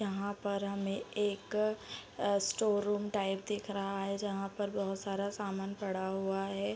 यहाँ पर हमे एक अ स्टोर रूम टाइप दिख रहा है जहाँ पर बहोत सारा सामान पड़ा हुआ है ।